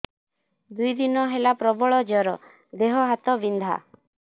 ଦୁଇ ଦିନ ହେଲା ପ୍ରବଳ ଜର ଦେହ ହାତ ବିନ୍ଧା